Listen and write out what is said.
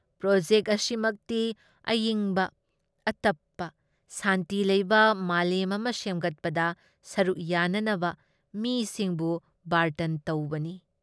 Project ꯑꯁꯤꯃꯛꯇꯤ ꯑꯏꯪꯕ, ꯑꯇꯞꯄ, ꯁꯥꯟꯇꯤ ꯂꯩꯕ ꯃꯥꯂꯦꯝ ꯑꯃ ꯁꯦꯝꯒꯠꯄꯗ ꯁꯔꯨꯛ ꯌꯥꯅꯅꯕ ꯃꯤꯁꯤꯡꯕꯨ ꯕꯥꯔꯇꯟ ꯇꯧꯕꯅꯤ ꯫